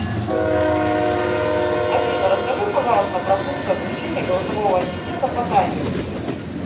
афина расскажи пожалуйста про функцию отключения голосового ассистента по таймеру